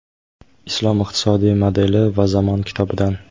"Islom iqtisodiy modeli va zamon" kitobidan.